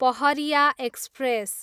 Pahariya express